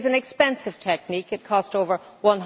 It is an expensive technique it cost over EUR